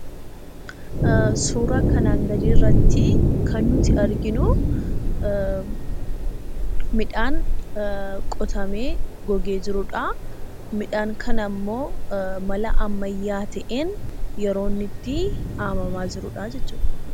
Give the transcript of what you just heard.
Suuraa kanaan gadii irratti kan nuti arginu midhaan qotamee gogee jirudha. Midhaan kanammoo mala ammayyaa ta'een yeroo inni itti haamamaa jirudhaa jechuudha.